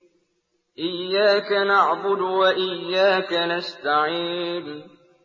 إِيَّاكَ نَعْبُدُ وَإِيَّاكَ نَسْتَعِينُ